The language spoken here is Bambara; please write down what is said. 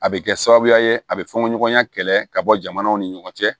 A bɛ kɛ sababuya ye a bɛ fɔnɲɔgɔnya kɛlɛ ka bɔ jamanaw ni ɲɔgɔn cɛ